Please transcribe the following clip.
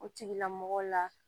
O tigilamɔgɔw la